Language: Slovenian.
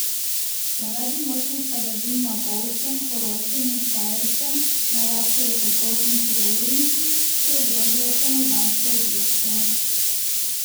Zaradi močnih padavin na Bovškem, Koroškem in Štajerskem naraščajo potoki in hudourniki, ki ogrožajo stanovanjske objekte.